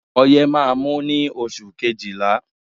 Ọyẹ́ má á mú ní oṣù kejìlá.